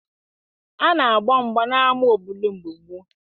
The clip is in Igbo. A na-agba mgba n'ama obodo mgbe gboo